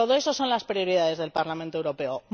Todas esas son las prioridades del Parlamento Europeo